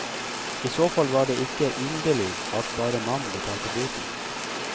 I så fall var det ikke underlig at bare mannen betalte boten.